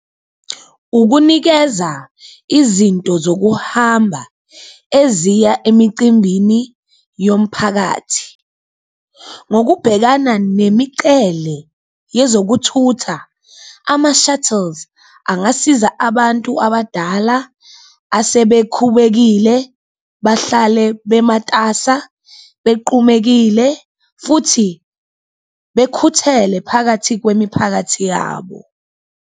Ukunikeza izinto zokuhamba eziya emicimbini yomphakathi ngokubhekana nemicele yezokuthutha, ama-shuttles angasiza abantu abadala asebekhubekile bahlale bematasa, bequmekile futhi bekhuthele phakathi kwemiphakathi yabo.